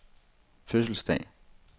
fødselsdag